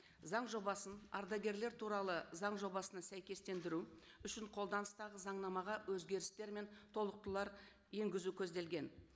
заң жобасын ардагерлер туралы заң жобасына сәйкестендіру үшін қолданыстағы заңнамаға өзгерістер мен толықтырулар енгізу көзделген